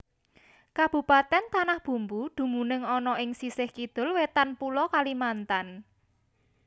Kabupatèn Tanah Bumbu dumunung ana ing sisih Kidul Wétan Pulo Kalimantan